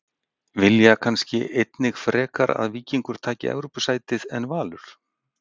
Vilja kannski einnig frekar að Víkingur taki Evrópusætið en Valur?